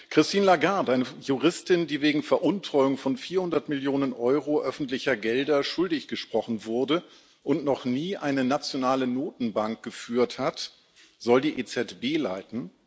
Christine Lagarde eine Juristin, die wegen Veruntreuung von 400 Millionen Euro öffentlicher Gelder schuldig gesprochen wurde und noch nie eine nationale Notenbank geführt hat soll die EZB leiten.